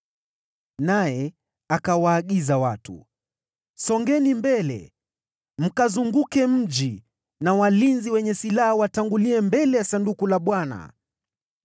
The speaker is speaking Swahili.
Naye akawaagiza watu, “Songeni mbele! Mkauzunguke mji, na walinzi wenye silaha watangulie mbele ya Sanduku la Bwana .”